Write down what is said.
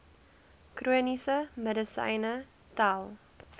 chroniese medisyne tel